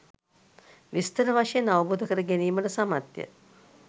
විස්තර වශයෙන් අවබෝධ කර ගැනීමට සමත්ය.